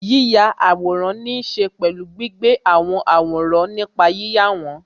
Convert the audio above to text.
Yíya àwòrán ní ṣe pẹ̀lú gbígbé àwọn àwòrán nípa yíyà wọn